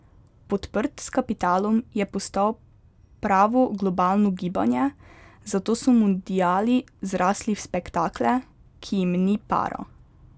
Podprt s kapitalom je postal pravo globalno gibanje, zato so mundiali zrasli v spektakle, ki jim ni para.